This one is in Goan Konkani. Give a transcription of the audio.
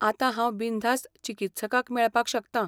आतां हांव बिनधास्त चिकित्सकाक मेळपाक शकतां.